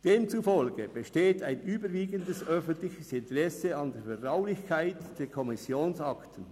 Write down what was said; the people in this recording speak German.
Demzufolge besteht ein überwiegendes öffentliches Interesse an der Vertraulichkeit der Kommissionsakten.